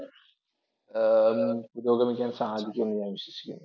പുരോഗമിക്കുവാൻ സാധിക്കുമെന്ന് ഞാൻ വിശ്വസിക്കുന്നു.